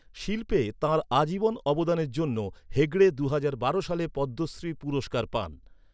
শিল্পে তাঁর আজীবন অবদানের জন্য হেগড়ে দুহাজার বারো সালে পদ্মশ্রী পুরস্কার পান।